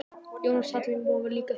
Jónas Hallgrímsson var líka þýðandi.